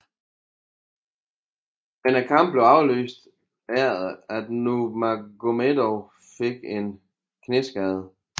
Men kampen blev aflyst efter at Nurmagomedov fik en knæskade